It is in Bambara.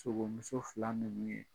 Sogomuso fila ninnu ye